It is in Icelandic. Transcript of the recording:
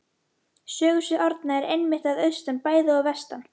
Sögusvið Árna er einmitt að austan bæði og vestan